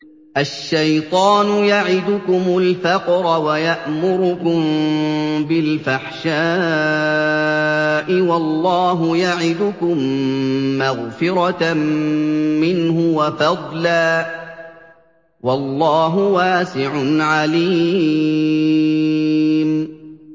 الشَّيْطَانُ يَعِدُكُمُ الْفَقْرَ وَيَأْمُرُكُم بِالْفَحْشَاءِ ۖ وَاللَّهُ يَعِدُكُم مَّغْفِرَةً مِّنْهُ وَفَضْلًا ۗ وَاللَّهُ وَاسِعٌ عَلِيمٌ